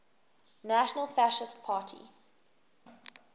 national fascist party